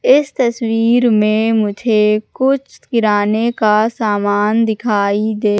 इस तस्वीर में मुझे कुछ किराने का सामान दिखाई दे--